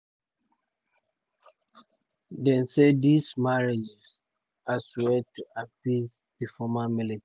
dem see um dis marriages as way to um appease di former militants.